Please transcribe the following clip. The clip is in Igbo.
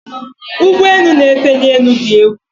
ụgbọ enu na efe ni enu di egwu